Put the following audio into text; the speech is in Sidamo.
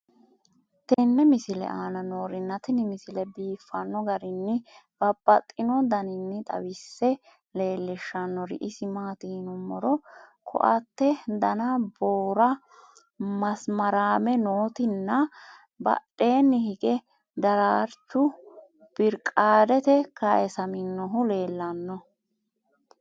tenne misile aana noorina tini misile biiffanno garinni babaxxinno daniinni xawisse leelishanori isi maati yinummoro koate danna boora , maasaramme nootti nna badheenni hige daraarichu biriqaadete kayiisaminohu leelanno.